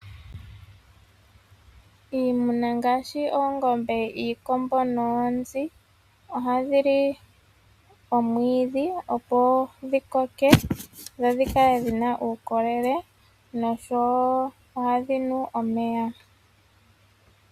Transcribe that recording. Iimuna ngaashi oongombe, iikombo noonzi ohadhi li omwiidhi opo dhi koke dho dhi kale dhi na uukolele noshowo ohadhi nu omeya.